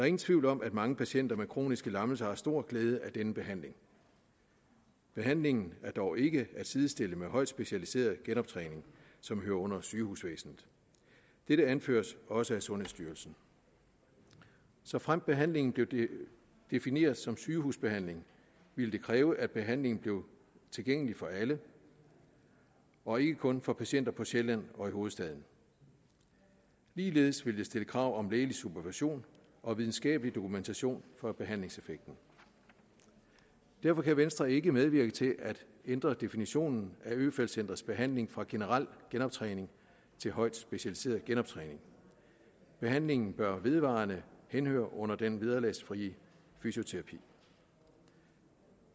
ingen tvivl om at mange patienter med kroniske lammelser har stor glæde af denne behandling behandlingen er dog ikke at sidestille med højt specialiseret genoptræning som hører under sygehusvæsenet dette anføres også af sundhedsstyrelsen såfremt behandlingen blev defineret som sygehusbehandling ville det kræve at behandlingen blev tilgængelig for alle og ikke kun for patienter på sjælland og i hovedstaden ligeledes ville det stille krav om lægelig supervision og videnskabelig dokumentation for behandlingseffekten derfor kan venstre ikke medvirke til at ændre definitionen af øfeldt centrets behandling fra generel genoptræning til højt specialiseret genoptræning behandlingen bør vedvarende henhøre under den vederlagsfri fysioterapi